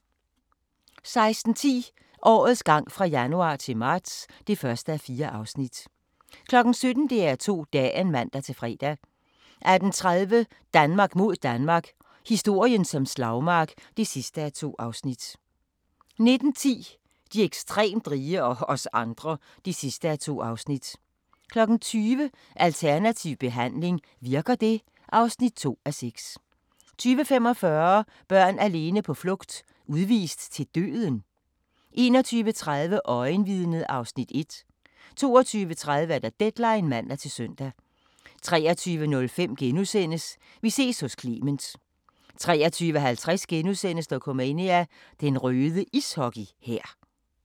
16:10: Årets gang fra januar til marts (1:4) 17:00: DR2 Dagen (man-fre) 18:30: Danmark mod Danmark – historien som slagmark (2:2) 19:10: De ekstremt rige – og os andre (2:2) 20:00: Alternativ behandling – virker det? (2:6) 20:45: Børn alene på flugt: Udvist til døden? 21:30: Øjenvidnet (Afs. 1) 22:30: Deadline (man-søn) 23:05: Vi ses hos Clement * 23:50: Dokumania: Den røde ishockey-hær *